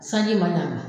Sanji ma na